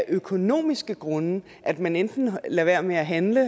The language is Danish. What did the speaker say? økonomiske grunde at man enten lader være med at handle